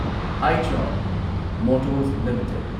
Eicher motors limited